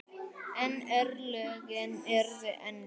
En örlögin urðu önnur.